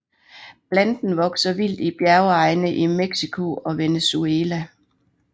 Planten vokser vildt i bjergegne i Mexico og Venezuela